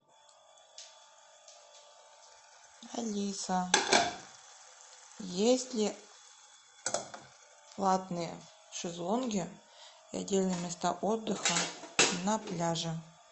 алиса есть ли платные шезлонги и отдельные места отдыха на пляже